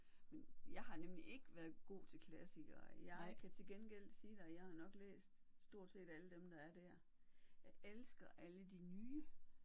Men jeg har nemlig ikke været god til klassikere. Jeg kan til gengæld sige dig jeg har nok læst stort set alle dem der er der. Jeg elsker alle de nye